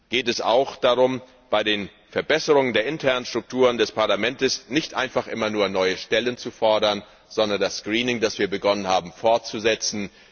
geht es auch darum, bei den Verbesserungen der internen Strukturen des Parlaments nicht einfach immer nur neue Stellen zu fordern, sondern das Screening, das wir begonnen haben, fortzusetzen.